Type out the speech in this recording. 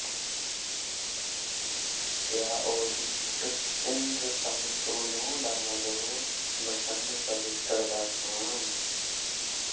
य ओजिष्ठ इन्द्र तं सु नो दा मदो वृषन्स्वभिष्टिर्दास्वान्